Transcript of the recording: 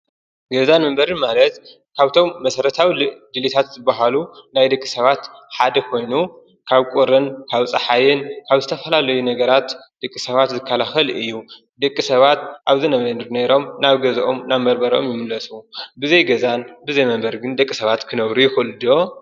ገዛን መንበሪን ማለት ካብቶም መስረታዊ ደሌታት ዝበሃሉ ናይ ደቂ ሰባት ሓደ ኮይኑ ካብ ቁርን ካብ ፀሓይ ካብ ዝተፈላለዩ ነገራት ደቂ ሰባት ዝከላከል እዩ። ደቂ ሰባት ኣብ ዝነበሩ ነይሮም ናብ ገዝኦም ናብ መንበሪ ይምለሱ። ብዘይ ገዛን ብዘይ መንበርን ደቂ ሰባት ክነብሩ ይክእሉ ድዮም?